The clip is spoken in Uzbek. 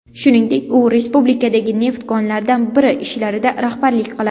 Shuningdek, u respublikadagi neft konlaridan biri ishlarida rahbarlik qiladi.